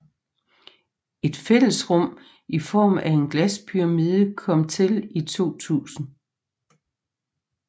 Et fællesrum i form af en glaspyramide kom til i 2000